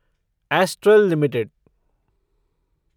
astral limited